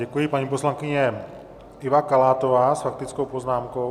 Děkuji, paní poslankyně Iva Kalátová s faktickou poznámkou.